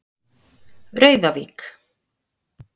Rauðavík